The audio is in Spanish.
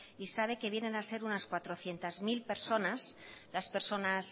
y sabe que vienen a ser unas cuatrocientos mil personas las personas